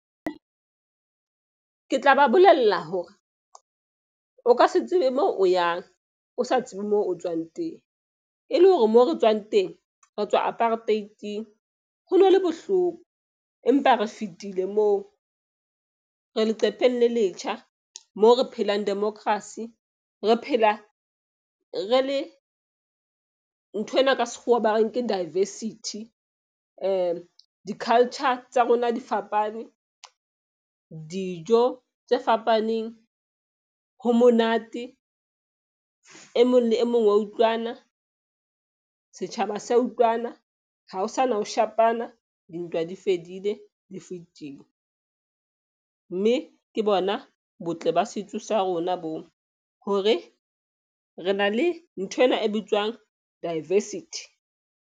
Ke tla ba bolella hore o ka se tsebe mo o yang, o sa tsebe moo o tswang teng. E le hore moo re tswang teng re tswa apartheid-ing, ho no le bohloko, empa re fitile moo. Re leqepheng le letjha mo re phelang democracy, re phela re le nthwena ka sekgowa ba reng ke diversity. Di-culture tsa rona di fapane. Dijo tse fapaneng, ho monate e mong le e mong wa utlwana. Setjhaba sa utlwana ha ho sana ho shapana. Dintwa di fedile di fetile mme ke bona botle ba setso sa rona bo, hore re na le nthwena e bitswang diversity.